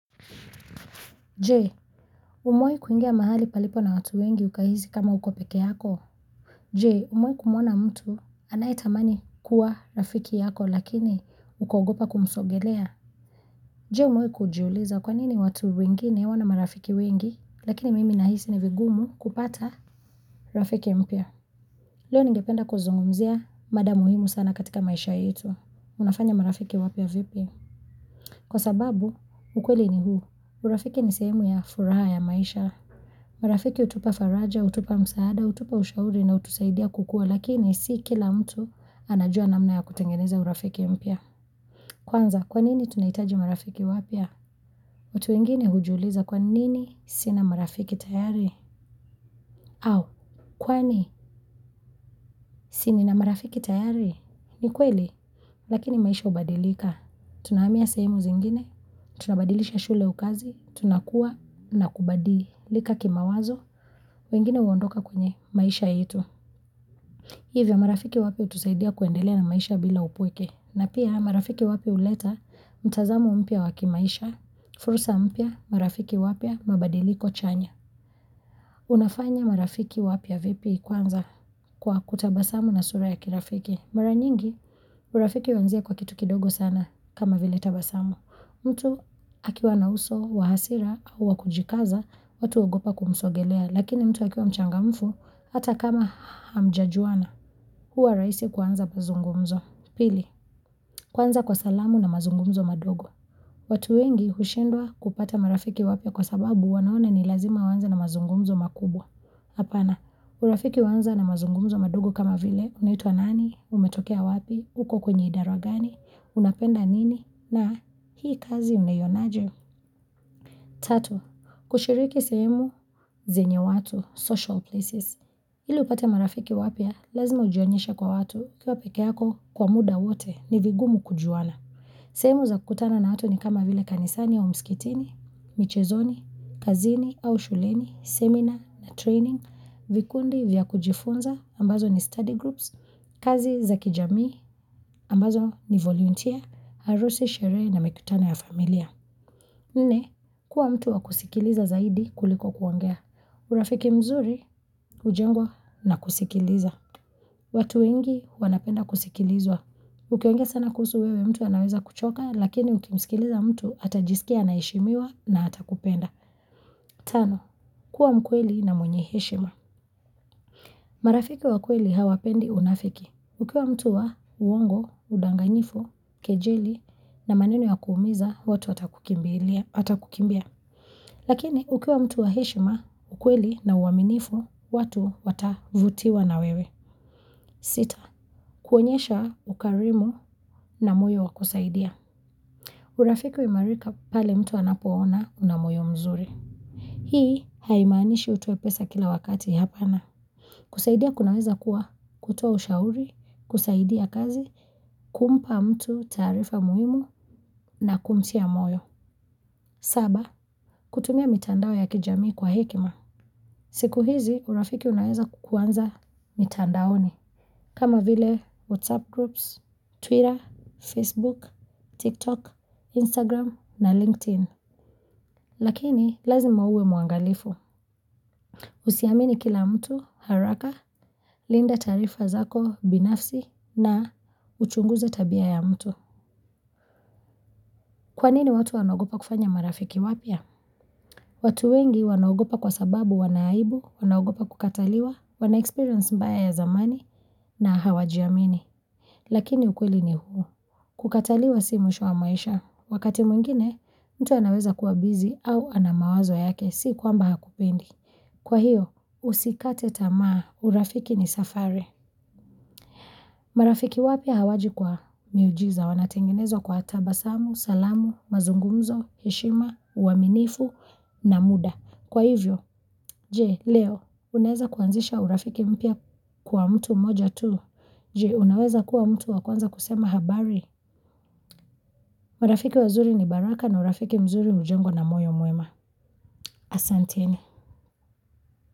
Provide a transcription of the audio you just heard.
Je, umewahi kuingia mahali palipo na watu wengi ukahisi kama uko peke yako? Je, umewahi kumuona mtu anaetamani kuwa rafiki yako lakini ukaogopa kumsogelea? Jee, umewahi kujiuliza kwanini watu wengine wana marafiki wengi lakini mimi nahisi ni vigumu kupata rafiki mpya. Leo ningependa kuzungumzia mada muhimu sana katika maisha yetu. Unafanya marafiki wapya vipi? Kwa sababu, ukweli ni huu. Urafiki ni sehemu ya furaha ya maisha. Marafiki hutupa faraja, utupa msaada, utupa ushauri na unaotusaidia kukua lakini si kila mtu anajua namna ya kutengeneza urafiki mpya. Kwanza, kwanini tunahitaji marafiki wapya? Watu wengine hujiuliza kwanini sina marafiki tayari? Au, kwani si nina marafiki tayari? Ni kweli, lakini maisha hubadilika. Tunahamia sehemu zingine, tunabadilisha shule au kazi, tunakuwa na kubadilika kimawazo, wengine huondoka kwenye maisha yetu. Hivyo marafiki wapya hutusaidia kuendelea na maisha bila upweke. Na pia marafiki wapya huleta mtazamo mpya wa kimaisha, fursa mpya marafiki wapya mabadiliko chanya. Unafanya marafiki wapya vipi kwanza kwa kutabasamu na sura ya kirafiki. Mara nyingi, urafiki huanzia kwa kitu kidogo sana kama vile tabasamu. Mtu akiwa na uso wa hasira au wa kujikaza, watu huogopa kumsogelea, lakini mtu akiwa mchangamfu, hata kama hamjajuana, huwa rahisi kuanza kuzungumza. Pili, kuanza kwa salamu na mazungumzo madogo. Watu wengi hushindwa kupata marafiki wapya kwa sababu wanaona ni lazima waanze na mazungumzo makubwa. Hapana, urafiki huanza na mazungumzo madogo kama vile, unaitua nani, umetokea wapi, uko kwenye idara gani, unapenda nini, na hii kazi unaionaje. Tatu, kushiriki sehemu zenye watu, social places. Ili upate marafiki wapya, lazima ujionyeshe kwa watu kua peke yako kwa muda wote ni vigumu kujuana. Sehemu za kukutana na watu ni kama vile kanisani ya umskitini, michezoni, kazini au shuleni, seminar na training, vikundi vya kujifunza, ambazo ni study groups, kazi za kijamii, ambazo ni volunteer, harusi sherehe na mikutano ya familia nne. Kuwa mtu wa kusikiliza zaidi kuliko kuongea. Urafiki mzuri hujengwa na kusikiliza. Watu wengi wanapenda kusikilizwa. Ukiongea sana kuhusu wewe mtu anaweza kuchoka lakini ukimsikiliza mtu atajisikia anaheshimiwa na atakupenda. tano. Kuwa mkweli na mwenye heshima. Marafiki wa kweli hawapendi unafiki. Ukiwa mtu wa uongo, udanganyifu, kejeli na maneno ya kuumiza, watu watakukimbia. Lakini, ukiwa mtu wa heshima, ukweli na uaminifu, watu watavutiwa na wewe. Sita, kuonyesha ukarimu na moyo wakusaidia. Urafiki huimarika pale mtu anapoona unamoyo mzuri. Hii haimanishi utoe pesa kila wakati hapana. Kusaidia kunaweza kuwa kutoa ushauri, kusaidia kazi, kumpa mtu taarifa muhimu na kumtia moyo. Saba, kutumia mitandao ya kijamii kwa hekima. Siku hizi, urafiki unaweza kukuanza mitandaoni. Kama vile WhatsApp groups, Twitter, Facebook, TikTok, Instagram na LinkedIn. Lakini, lazima uwe muangalifu. Usiamini kila mtu haraka, linda tarifa zako binafsi na uchunguze tabia ya mtu. Kwanini watu wanaogopa kufanya marafiki wapya? Watu wengi wanaogopa kwa sababu wana aibu, wanaogopa kukataliwa, wanaexperience mbaya ya zamani na hawajiamini. Lakini ukweli ni huu. Kukataliwa si mwisho wa maisha. Wakati mwingine, mtu anaweza kuwa bizi au anamawazo yake si kwamba hakupendi. Kwa hiyo, usikate tamaa, urafiki ni safari. Marafiki wapya hawaji kwa miujiza wanatengenezwa kwa tatabasamu, salamu, mazungumzo, heshima, uaminifu na muda. Kwa hivyo, je, leo, unaweza kuanzisha urafiki mpya kwa mtu mmoja tu. Jee, unaweza kuwa mtu wa kwanza kusema habari. Marafiki wazuri ni baraka na urafiki mzuri hujengwa na moyo mwema. Asanteni.